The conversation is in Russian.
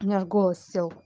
у меня аж голос сел